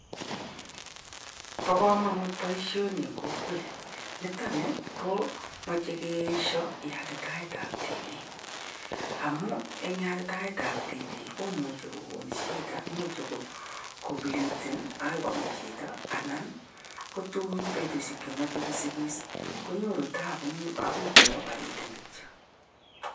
Bo kamanut boishoni eng kokwet, nitoni ko machei keeshio yatitaetab tibiik. Amuu eng yatitaetab tibiik komuji kokon shida imuch kopliden chito agoi kome chito anan kotun betushek che machei kosikis konyoru tabu ako keopereten kityo.